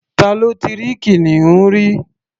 Ta ló ti rí kìnìún rí?